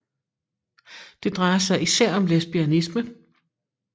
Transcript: Det drejer sig især om lesbianisme